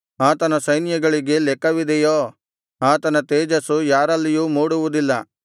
ಆತನ ಸೈನ್ಯಗಳಿಗೆ ಲೆಕ್ಕವಿದೆಯೋ ಆತನ ತೇಜಸ್ಸು ಯಾರಲ್ಲಿಯೂ ಮೂಡುವುದಿಲ್ಲ